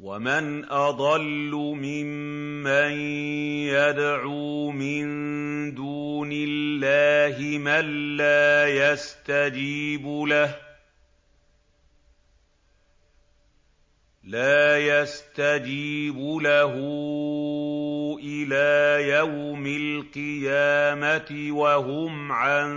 وَمَنْ أَضَلُّ مِمَّن يَدْعُو مِن دُونِ اللَّهِ مَن لَّا يَسْتَجِيبُ لَهُ إِلَىٰ يَوْمِ الْقِيَامَةِ وَهُمْ عَن